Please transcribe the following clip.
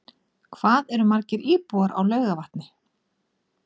Hvað eru margir íbúar á Laugarvatni?